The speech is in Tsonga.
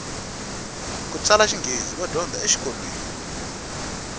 kutsala xinghezi va dyondzisa e xikolweni